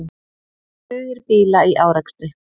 Tugir bíla í árekstri